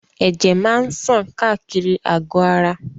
Ẹ̀jẹ̀ máa ṣàn káàkiri àgò ara.